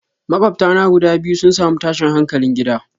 Makwabta na guda biyu sun samu tashin hankalin gida.